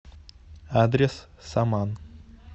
адрес саман